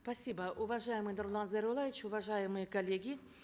спасибо уважаемый нурлан зайроллаевич уважаемые коллеги